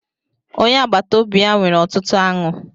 Onye agbata obi ya nwere ọtụtụ aṅụ.